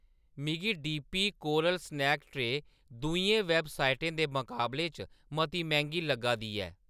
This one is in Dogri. मिगी D P coral snack tray दूइयें वैबसाइटें दे मकाबले च मती मैंह्‌गी लग्गा दी ऐ।